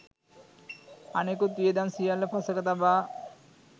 අනෙකුත් වියදම් සියල්ල පසෙක තබා